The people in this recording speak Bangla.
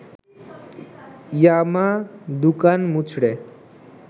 ইয়ামা দুকান মুচড়ে